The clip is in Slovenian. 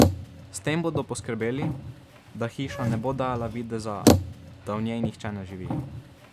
S tem bodo poskrbeli, da hiša ne bo dajala videza, da v njej nihče ne živi.